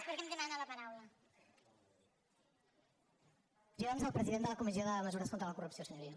per al·lusions al president de la comissió de mesures contra la corrupció senyoria